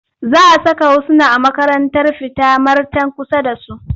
Za a saka Husna a makarantar fita marten kusa da su.